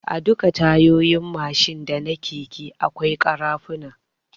A duka Tayoyin Mashin da na keke akwai kara funa